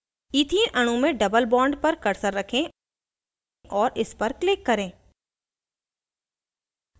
ethene अणु में double bond पर cursor रखें और इस पर click करें